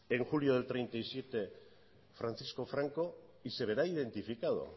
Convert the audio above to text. en julio del treinta y siete francisco franco y se verá identificado